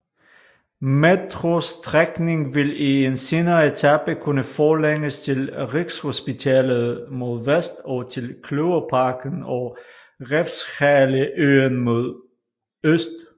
Metrostrækning vil i en senere etape kunne forlænges til Rigshospitalet mod vest og til Kløverparken og Refshaleøen mod øst